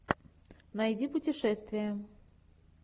найди путешествие